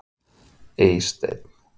Eysteinn